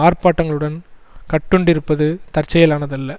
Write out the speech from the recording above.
ஆர்ப்பாட்டங்களுடன் கட்டுண்டிருப்பது தற்செயலானதல்ல